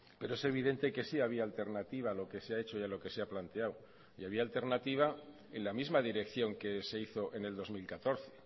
pero es evidente que sí había alternativa a lo que se ha hecho y a lo que se ha planteado y había alternativa en la misma dirección que se hizo en el dos mil catorce